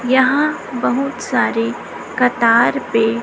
यहां बहुत सारे कतार पे--